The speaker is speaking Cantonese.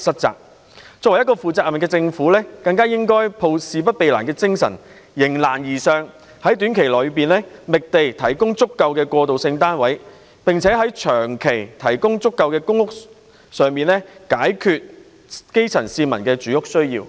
作為一個負責任的政府，更應該抱着事不避難的精神，迎難而上，在短期內覓地，提供足夠的過渡性房屋單位，並長期提供足夠的公屋單位，以解決基層市民的住屋需要。